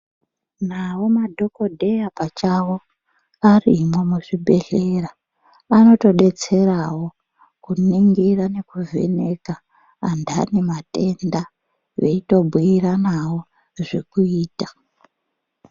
Nawo madhogodheya pachawo arimwo muzvibhedhlera, anotodetserawo kuningira nekuvheneka anthani anematenda veitobhuyiranawo zvekuita.